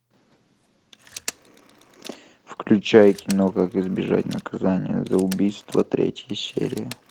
включай кино как избежать наказания за убийство третья серия